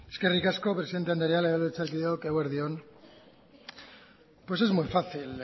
eskerrik asko presidente andrea legebiltzarkideok eguerdi on pues es muy fácil